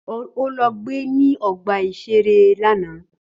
Ó lọ gbe ní ọgbà-ìṣeré lánàá